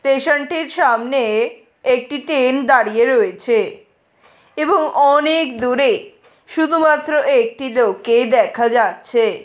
Station টির সামনেএএ একটি ট্রেন দাঁড়িয়ে রয়েছে এবং অনেএএক দূরে শুধুমাত্র একটি লোককে দেখা যাচ্ছে।